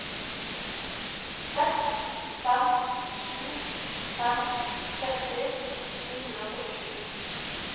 seks fem sju fem tretti ni hundre og førtisju